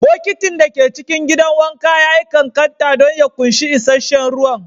Bokitin da ke cikin gidan wanka ya yi ƙanƙanta don ya ƙunshi isasshen ruwa